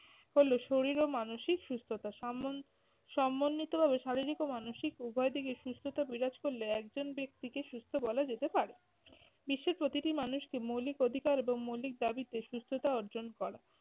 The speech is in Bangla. হলো শরীর ও মানসিক সুস্থতা। সাম্বন~ সম্বন্ধিতভাবে শারীরিক ও মানসিক উভয় দিকই সুস্থতা বিরাজ করলে একজন ব্যক্তিকে সুস্থ বলা যেতে পারে। বিশ্বের প্রতিটি মানুষকে মৌলিক অধিকার এবং মৌলিক দাবিতে সুস্থতা অর্জন করা।